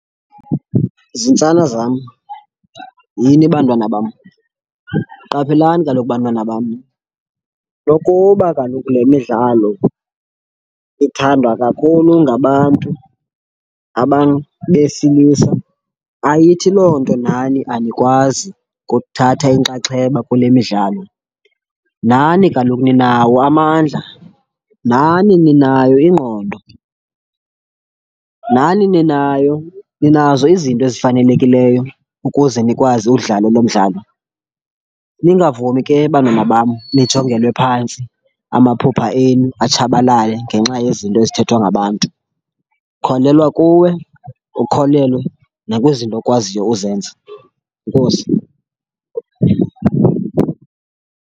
Zintsana zam, yini bantwana bam, qaphelani kaloku bantwana bam. Nokuba kaloku le midlalo ithandwa kakhulu ngabantu, abantu besilisa, ayithi loo nto nani anikwazi kuthatha inkxaxheba kule midlalo. Nani kaloku ninawo amandla, nani ninayo ingqondo, nani ninayo ninazo izinto ezifanelekileyo ukuze nikwazi, uwudlala lo mdlalo. Ningavumi ke bantwana bam nijongelwe phantsi, amaphupha enu atshabalale ngenxa yezinto ezithethwa ngabantu. Kholelwa kuwe ukholelwe nakwizinto okwaziyo uzenza. Enkosi.